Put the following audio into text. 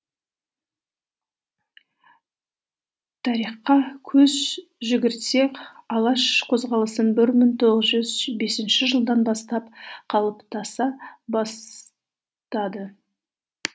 тарихқа көз жүгіртсек алаш қозғалысын бір мың тоғыз жүз бесінші жылдан бастап қалыптаса бастады